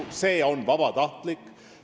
Aga see on vabatahtlik.